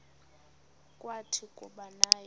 kwathi kuba naye